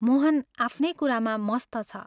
मोहन आफ्नै कुरामा मस्त छ।